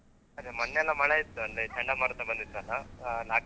ಅದೇ ಮೊನ್ನೆ ಎಲ್ಲ ಮಳೆ ಇತ್ತು ಅಂದ್ರೆ ಚಂಡಮಾರುತ ಬಂದಿತ್ತಲ್ಲಾ .